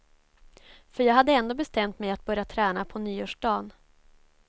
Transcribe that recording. För jag hade ändå bestämt mig att börja träna på nyårsdan.